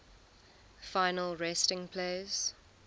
final resting place